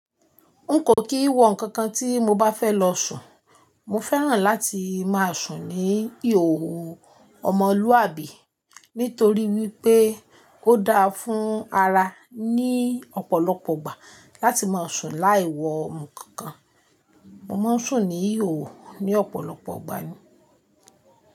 Nkò kì wọ ǹkankan tí mo bá fẹ́ lọ sùn. Mo fẹ́ràn láti ma sùn ní ìhòòhò ọmọlúwàbí nítorí wípé ó dá fún ara ní ọ̀pọ̀lọpọ̀ ìgbà láti ma sùn láì wọ ǹkankan. Mo ma sùn ní ìhòòhò ní ọ̀pọ̀lọpọ̀ ìgbà ni.